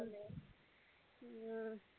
ஹம்